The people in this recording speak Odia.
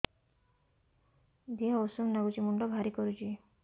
ଦିହ ଉଷୁମ ନାଗୁଚି ମୁଣ୍ଡ ଭାରି କରୁଚି